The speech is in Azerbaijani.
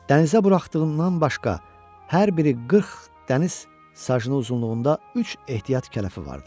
Dənizə buraxdığından başqa hər biri 40 dəniz sajının uzunluğunda üç ehtiyat kələfi vardı.